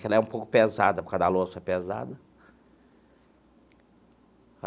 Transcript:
Que ela é um pouco pesada, por causa da louça pesada.